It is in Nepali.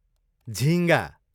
झिँगा